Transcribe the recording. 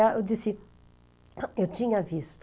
Eu disse, eu tinha visto.